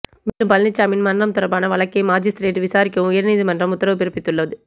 மேலும் பழனிச்சாமியின் மரணம் தொடர்பான வழக்கை மாஜிஸ்திரேட் விசாரிக்கவும் உயர்நீதிமன்றம் உத்தரவு பிறப்பித்துள்ளது